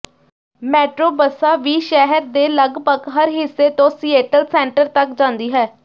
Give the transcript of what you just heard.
metro ਬੱਸਾਂ ਵੀ ਸ਼ਹਿਰ ਦੇ ਲਗਭਗ ਹਰ ਹਿੱਸੇ ਤੋਂ ਸੀਏਟਲ ਸੈਂਟਰ ਤੱਕ ਜਾਂਦੀ ਹੈ